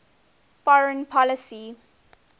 foreign policy